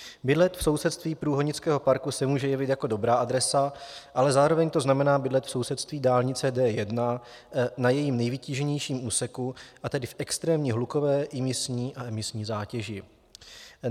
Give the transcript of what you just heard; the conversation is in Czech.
Bydlet v sousedství průhonického parku se může jevit jako dobrá adresa, ale zároveň to znamená bydlet v sousedství dálnice D1 na jejím nejvytíženějším úseku, a tedy v extrémně hlukové, imisní a emisní zátěži.